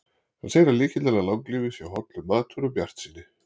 Hann segir að lykillinn að langlífi sé hollur matur og bjartsýni.